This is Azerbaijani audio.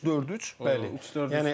Üç dörd üç, bəli, üç dörd üç.